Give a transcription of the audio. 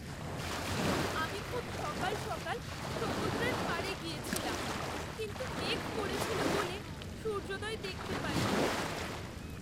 আমি খুব সকাল সকাল সমুদ্রের পাড়ে গিয়েছিলাম, কিন্তু মেঘ করেছিল বলে সূর্যোদয় দেখতে পাইনি।